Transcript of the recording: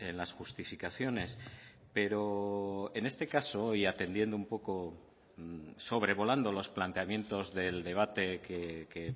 las justificaciones pero en este caso y atendiendo un poco sobrevolando los planteamientos del debate que